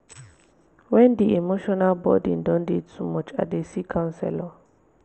wen di emotional burden don dey too much i dey see counselor.